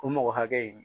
O mɔgɔ hakɛ in